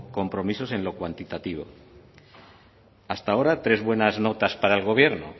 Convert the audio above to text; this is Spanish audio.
compromisos en lo cuantitativo hasta ahora tres buenas notas para el gobierno